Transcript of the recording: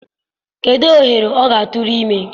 kedụ ohere ọ ga-atụrụ ime?